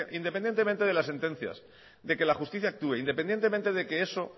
independientemente de las sentencias de que la justicia actúe independientemente de que eso